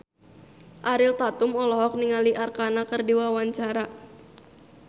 Ariel Tatum olohok ningali Arkarna keur diwawancara